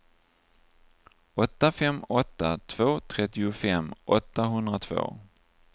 åtta fem åtta två trettiofem åttahundratvå